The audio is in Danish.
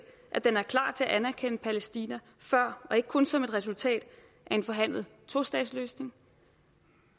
at den er klar til at anerkende palæstina før og ikke kun som et resultat af en forhandlet tostatsløsning